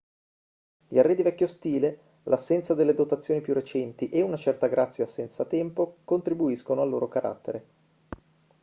gli arredi vecchio stile l'assenza delle dotazioni più recenti e una certa grazia senza tempo contribuiscono al loro carattere